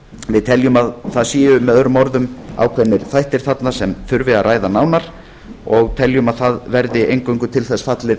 við teljum að það séu möo orðum ákveðnir þættir þarna sem þurfi að ræða nánar og teljum að það verði eingöngu til þess fallið